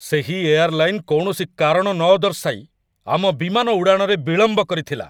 ସେହି ଏୟାର୍‌ଲାଇନ୍‌‌ କୌଣସି କାରଣ ନଦର୍ଶାଇ ଆମ ବିମାନ ଉଡ଼ାଣରେ ବିଳମ୍ବ କରିଥିଲା।